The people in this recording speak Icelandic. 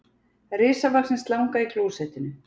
Risavaxin slanga í klósettinu